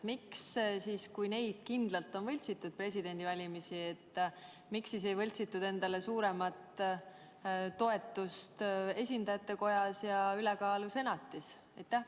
Kui presidendivalimisi on kindlalt võltsitud, miks siis ei võltsitud endale suuremat toetust esindajatekojas ja ülekaalu senatis?